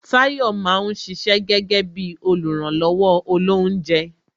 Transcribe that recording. Tayọ máa ń ṣiṣẹ́ gẹ́gẹ́ bí oluranlowo olounje